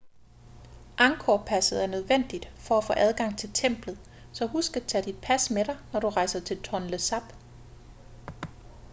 angkor-passet er nødvendigt for at få adgang til templet så husk at tage dit pas med dig når du rejser til tonle sap